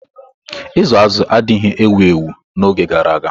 Ịzụ azụ̀ n'ụlọ adịghị ewu ewu n'oge gara aga.